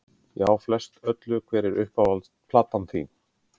Já, flest öllu Hver er uppáhalds platan þín?